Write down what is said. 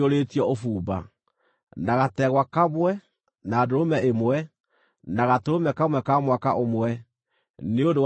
na gategwa kamwe, na ndũrũme ĩmwe, na gatũrũme kamwe ka mwaka ũmwe, nĩ ũndũ wa iruta rĩa njino;